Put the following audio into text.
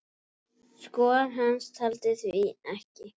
Skor hans taldi því ekki.